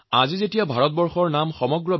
আজি সমগ্ৰ বিশ্বই ভাৰতবৰ্ষক অন্য চকুৰে চায়